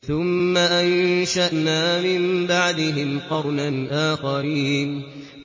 ثُمَّ أَنشَأْنَا مِن بَعْدِهِمْ قَرْنًا آخَرِينَ